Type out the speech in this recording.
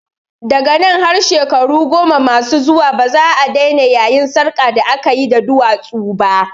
Daga nan har shekaru goma masu zuwa baza'a daina yayin sarƙar da akayi da duwatsu ba